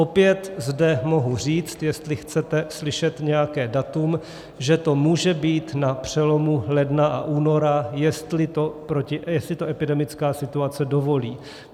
Opět zde mohu říct, jestli chcete slyšet nějaké datum, že to může být na přelomu ledna a února, jestli to epidemická situace dovolí.